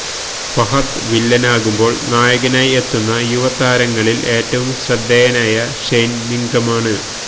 ഫഹദ് വില്ലനാകുമ്പോൾ നായികനായി എത്തുന്ന യുവതാരങ്ങളിൽ ഏറ്റവും ശ്രദ്ധേയനായ ഷെയ്ൻ നിഗമാണ്